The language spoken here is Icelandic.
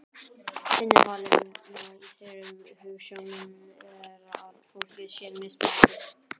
Innifalið í þeirri hugsjón er að fólk sé mismunandi.